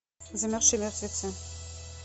замерзшие мертвецы